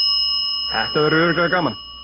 Þetta verður örugglega gaman